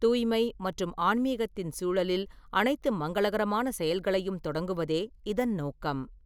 தூய்மை மற்றும் ஆன்மீகத்தின் சூழலில் அனைத்து மங்களகரமான செயல்களையும் தொடங்குவதே இதன் நோக்கம்.